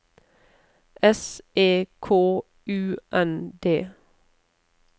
S E K U N D